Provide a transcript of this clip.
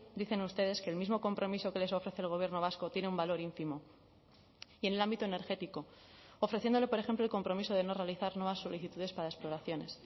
dicen ustedes que el mismo compromiso que les ofrece el gobierno vasco tiene un valor ínfimo y en el ámbito energético ofreciéndole por ejemplo el compromiso de no realizar nuevas solicitudes para exploraciones